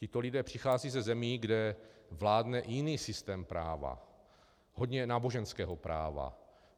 Tito lidé přicházejí ze zemí, kde vládne jiný systém práva, hodně náboženského práva.